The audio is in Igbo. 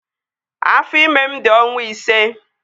Afọ ime m di ọnwa ise